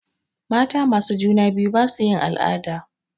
Mata masu juna biyu basu yin al'ada.